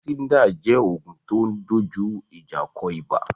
Fansidar jẹ́ oògùn tó dojú ìjà kọ ibà